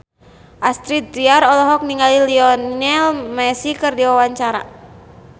Astrid Tiar olohok ningali Lionel Messi keur diwawancara